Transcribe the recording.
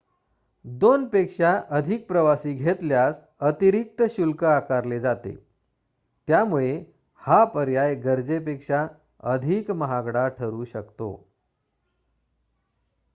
दोनपेक्षा अधिक प्रवासी घेतल्यास अतिरिक्त शुल्क आकारले जाते त्यामुळे हा पर्याय गरजेपेक्षा अधिक महागडा ठरू शकतो